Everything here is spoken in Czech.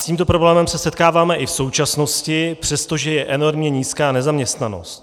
S tímto problémem se setkáváme i v současnosti, přestože je enormně nízká nezaměstnanost.